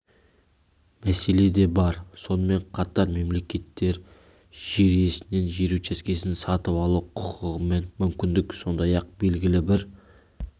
мәселе де бар сонымен қатар мемлекеттер жер иесінен жер учаскесін сатып алу құқықығымен мүмкіндік сондай-ақ белгілі бір